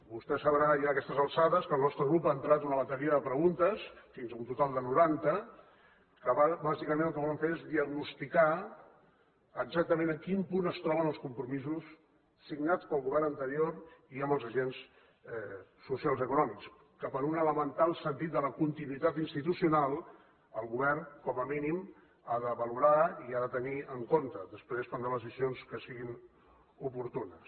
vostè deu saber ja aquestes alçades que el nostre grup ha entrat una bateria de preguntes fins a un total de noranta que bàsicament el que volen fer és diagnosticar exactament en quin punt es troben els compromisos signats pel govern anterior i amb els agents socials i econòmics que per un elemental sentit de la continuïtat institucional el govern com a mínim ha de valorar i ha de tenir en compte després es prendran les decisions que siguin oportunes